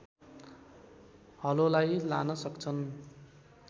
हलोलाई लान सक्छन्